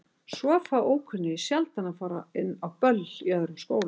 Svo fá ókunnugir sjaldan að fara inn á böll í öðrum skólum.